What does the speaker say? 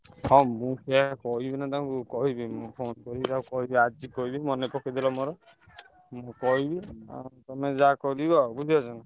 ହଁ ମୁଁ ସେୟା କହିବିନା ତାଙ୍କୁ କହିବି ମୁଁ phone କରି ତାକୁ କହିବି ଆଜି କହିବି ମନେ ପକେଇଦେଲ ମୋର କହିବି ତମେ ଯାହା କରିବ ଆଉ ବୁଝିପାରୁଛନା?